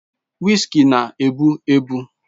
Whiskey na-egbu egbu